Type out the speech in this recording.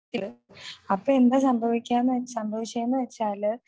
അപ്പൊ എന്താ സംഭവിക്കാന്ന്, സംഭവിച്ചെന്ന് വെച്ചാൽ